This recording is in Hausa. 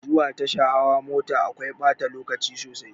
Zuwa tasha hawa mota akwai ɓata lokaci sosai.